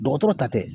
Dɔgɔtɔrɔ ta tɛ